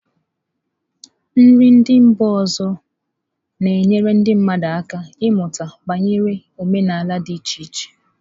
Nri ndị mba ọzọ na-enyere ndị mmadụ aka ịmụta banyere omenala dị iche iche.